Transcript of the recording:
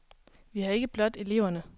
Vi har ikke blot eleverne.